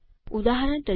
ઉદાહરણ તરીકે